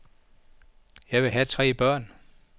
Jeg vil have tre børn.